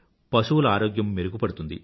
పశువుల ఆరోగ్యం మెరుగుపడుతుంది